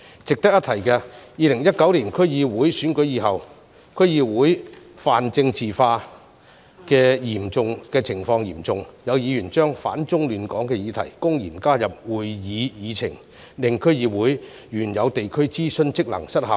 值得一提的是 ，2019 年區議會選舉以後，區議會泛政治化的情況嚴重，有議員把"反中亂港"的議題公然加入會議議程，令區議會原有地區諮詢職能失效。